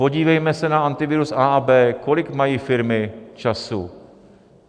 Podívejme se na Antivirus A a B. Kolik mají firmy času?